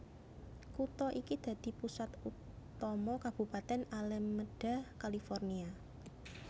Kutha iki dadi pusat utama Kabupatèn Alameda California